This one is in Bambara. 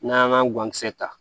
N'an y'an ka guwankisɛ ta